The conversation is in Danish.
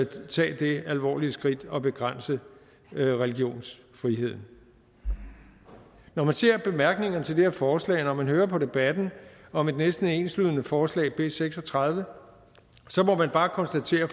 tage det alvorligt skridt at begrænse religionsfriheden når man ser bemærkningerne til det her forslag og når man hører på debatten om et næsten enslydende forslag b seks og tredive så må man bare konstatere